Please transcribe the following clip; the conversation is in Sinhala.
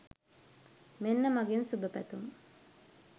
මෙන්න මගෙන් සුභපැතුම්